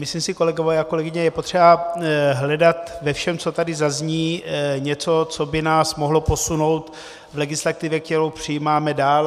Myslím si, kolegové a kolegyně, je potřeba hledat ve všem, co tady zazní, něco, co by nás mohlo posunout v legislativě, kterou přijímáme, dál.